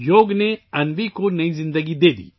یوگا نے انوی کو نئی زندگی دی